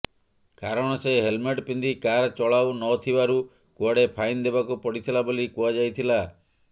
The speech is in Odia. କାରଣ ସେ ହେଲମେଟ୍ ପିନ୍ଧି କାର୍ ଚଲାଉନଥିବାରୁ କୁଆଡ଼େ ଫାଇନ୍ ଦେବାକୁ ପଡ଼ିଥିଲା ବୋଲି କୁହାଯାଇଥିଲା